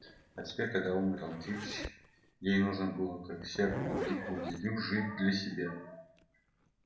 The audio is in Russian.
а теперь когда умер антипыч ей нужно было как и всякому дикому зверю жить для себя